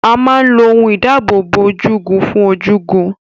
A máa ń lo ohun ìdáábòbò ojúgun fún ojúgun.